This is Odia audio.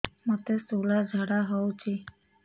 ମୋତେ ଶୂଳା ଝାଡ଼ା ହଉଚି